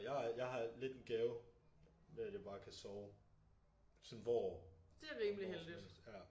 Jeg har jeg har lidt en gave med at jeg bare kan sove sådan hvor og når som helst ja